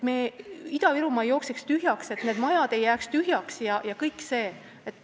Ida-Virumaa ei tohi tühjaks joosta, majad ei tohi tühjaks jääda ja kõik see.